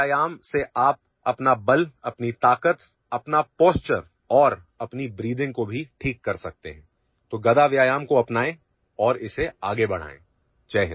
گدا ورزش سے آپ اپنی طاقت، قوت، حالت اور یہاں تک کہ سانس لینے میں بھی بہتری لا سکتے ہیں، اس لیے گدا کی اس ورزش کو اپنائیں اور اسے آگے بڑھائیں